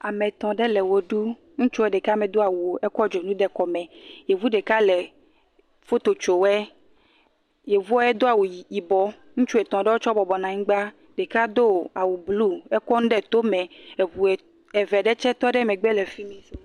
Ame etɔ̃ ɖe le wɔ ɖum, ŋutsu ɖeka medo awu o, ekɔ dzonu de kɔme, yevu ɖeka le foto tso wɔe, yevuɔ edo awu yibɔ, ŋutsu etɔ̃ ɖewɔe tsɛ bɔbɔ nɔ anyigba, ɖeka do awu blu, ekɔ nu ɖe tome, eŋu eve ɖe tsɛ tɔ ɖe megbe fi mi.